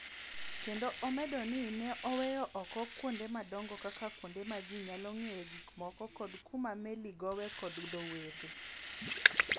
kendo omedo ni ne oweyo oko kuonde madongo kaka kuonde ma ji nyalo ng�iewoe gikmoko kod kuma meli gowoe kod dho wedhe.